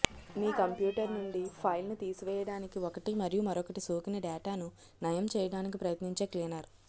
మీ computer నుండి ఫైల్ను తీసివేయడానికి ఒకటి మరియు మరొకటి సోకిన డేటాను నయం చేయడానికి ప్రయత్నించే క్లీనర్